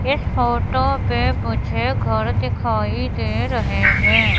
इस फोटो पे मुझे घर दिखाई दे रहे है